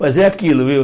Mas é aquilo, viu?